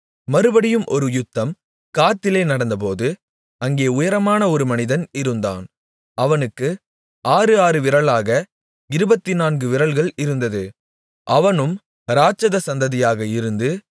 மறுபடியும் ஒரு யுத்தம் காத்திலே நடந்தபோது அங்கே உயரமான ஒரு மனிதன் இருந்தான் அவனுக்கு ஆறு ஆறு விரலாக இருபத்துநான்கு விரல்கள் இருந்தது அவனும் இராட்சத சந்ததியாக இருந்து